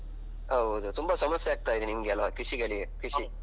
ಹೌದು ತುಂಬಾ ಸಮಸ್ಯೆ ಆಗ್ತಾ ಇದೆ ನಿಮ್ಗೆ ಅಲ್ವಾ ಕೃಷಿಗಳಿಗೆ ಕೃಷಿ.